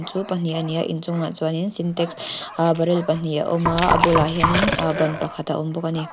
chu pahnih a ni a in chungah chuanin sintex aa barrel pahnih a awm a bulah hianin aa ban pakhat a awm bawk ani.